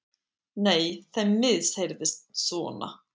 Nei, þeim bara misheyrðist svona.